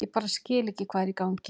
Ég bara skil ekki hvað er í gangi.